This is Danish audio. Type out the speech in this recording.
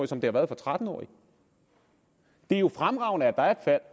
som det har været for tretten årige det er jo fremragende at der er